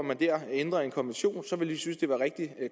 man dér ændrer en konvention så ville synes det var rigtig